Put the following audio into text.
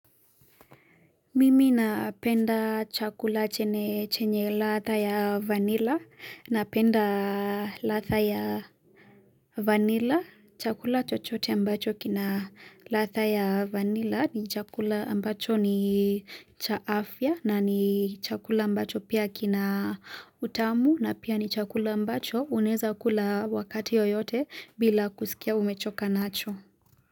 Mimi napenda chakula chenye chenye ladha ya vanilla, napenda ladha ya vanilla, chakula chochote ambacho kina ladha ya vanilla ni chakula ambacho ni cha afya na ni chakula ambacho pia kina utamu na pia ni chakula ambacho unaeza kula wakati yoyote bila kusikia umechoka nacho.